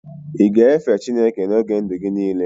ị ga-efe Chineke n'oge ndụ gị niile?